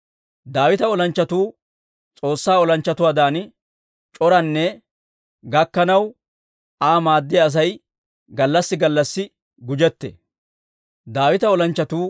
Daawita olanchchatuu S'oossaa olanchchatuwaadan c'oraana gakkanaw, Aa maaddiyaa Asay gallassi gallassi gujettee.